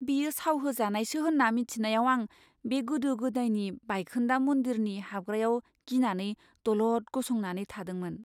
बेयो साव होजानायसो होन्ना मोन्थिनायाव आं बे गोदो गोदायनि बायखोन्दा मन्दिरनि हाबग्रायाव गिनानै दलद गसंनानै थादोंमोन।